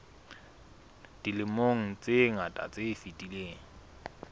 dilemong tse ngata tse fetileng